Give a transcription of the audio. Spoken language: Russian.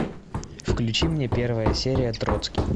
включи мне первая серия троцкий